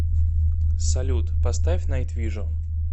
салют поставь найтвижн